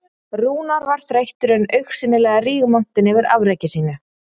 Rúnar var þreyttur en augsýnilega rígmontinn yfir afreki sínu